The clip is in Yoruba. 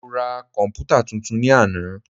Mo ra komputa tuntun ní àná.